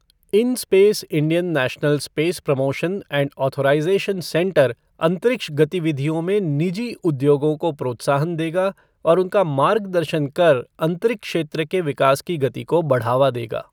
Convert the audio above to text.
In space Indian national space promotion and authorisation centre अंतरिक्ष गतिविधियों में निजी उद्योगों को प्रोत्साहन देगा और उनका मार्गदर्शन कर अंतरिक्ष क्षेत्र के विकास की गति को बढ़ावा देगा।